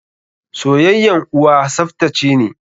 Soyayyan uwa tsaftace ne.